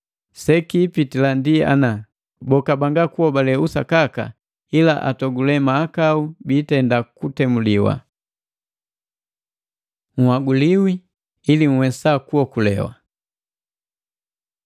Sekiipita ndi ana, boka banga kuhobale usakaka, ila atogule mahakau bitenda kutemuliwa. Nnhaguliwi ili nhwesa kuokolewa